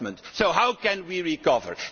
So how can we recover?